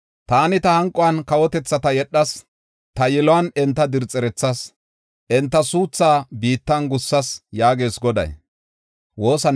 Taani ta hanquwan kawotethata yedhas; ta yiluwan enta dirxerethas; enta suuthaa biittan gussas” yaagees Goday.